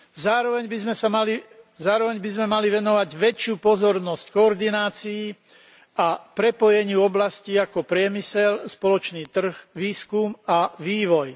Zároveň by sme mali venovať väčšiu pozornosť koordinácii a prepojeniu oblastí ako priemysel, spoločný trh, výskum a vývoj.